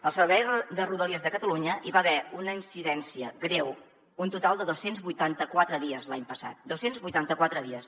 al servei de rodalies de catalunya hi va haver una incidència greu un total de dos cents i vuitanta quatre dies l’any passat dos cents i vuitanta quatre dies